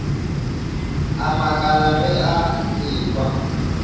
a makala ge a ekwa